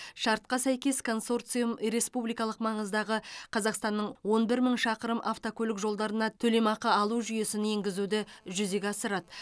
шартқа сәйкес консорциум республикалық маңыздағы қазақстанның он бір мың шақырым автокөлік жолдарына төлемақы алу жүйесін енгізуді жүзеге асырады